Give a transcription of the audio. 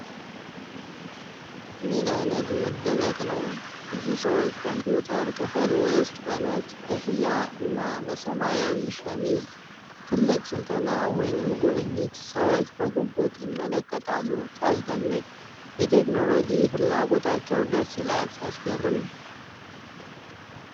ምን አይነት መደነቅ ነው! ብዙ ሰዎች ኮምፒዩተር ክፍል ውስጥ በነጭ ኮፍያ እና በሰማያዊ ሸሚዝ። ትልቅ ስልጠና ወይስ ጉብኝት? ሰዎች በጉጉት ይመለከታሉ፤ ሲያስደንቅ! የቴክኖሎጂ ፍላጎታቸው ደስ ይላል። ሲያስገርም!